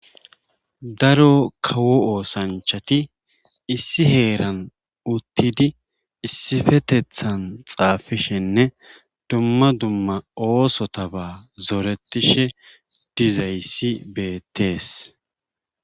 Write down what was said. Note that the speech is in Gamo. Daro kawo oosanchati issi heeran uttidi issfetethan xaag=fishenne dumma dumma oosotaba zorettishe dizayssi beettees.